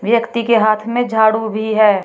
व्यक्ति के हाथ में झाड़ू भी है।